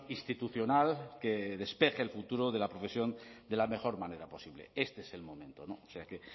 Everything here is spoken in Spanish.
institucional que despeje el futuro de la profesión de la mejor manera posible este es el momento o sea que